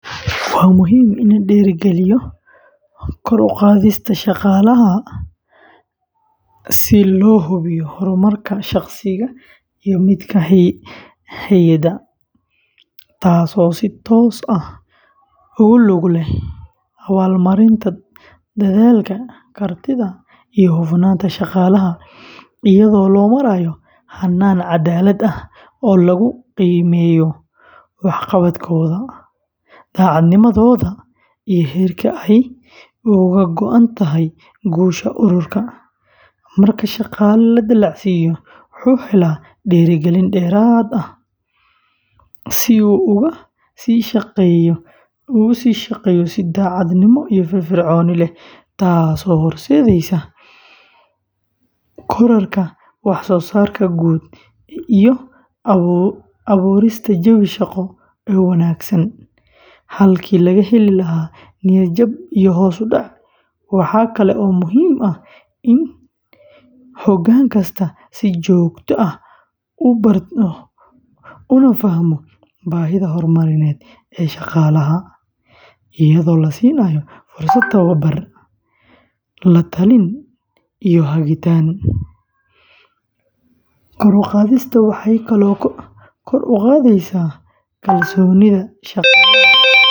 Waa muhiim in la dhiirrigeliyo kor u qaadista shaqaalaha si loo hubiyo horumarka shaqsiga iyo midka hay’adda, taasoo si toos ah ugu lug leh abaalmarinta dadaalka, kartida, iyo hufnaanta shaqaalaha, iyadoo loo marayo hannaan caddaalad ah oo lagu qiimeeyo waxqabadkooda, daacadnimadooda iyo heerka ay uga go’an tahay guusha ururka; marka shaqaale la dallacsiiyo, wuxuu helaa dhiirigelin dheeraad ah si uu uga sii shaqeeyo si daacadnimo iyo firfircooni leh, taasoo horseedaysa kororka waxsoosaarka guud iyo abuurista jawi shaqo oo wanaagsan, halkii laga heli lahaa niyad-jab iyo hoos u dhac; waxa kale oo muhiim ah in hoggaan kastaa si joogto ah u barto una fahmo baahida horumarineed ee shaqaalaha, iyadoo la siinayo fursado tababar, la-talin iyo hagitaan; kor u qaadista waxay kaloo kor u qaadaysaa kalsoonida shaqaalaha.